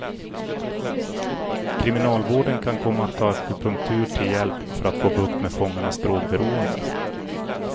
Kriminalvården kan komma att ta akupunktur till hjälp för att få bukt med fångarnas drogberoende.